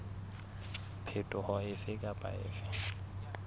phetoho efe kapa efe e